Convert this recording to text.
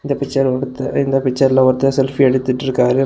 இந்த பிச்சர்ல ஒருத்தரு இந்த பிச்சர்ல ஒருத்தர் செல்ஃபி எடுத்துட்ருக்காறு.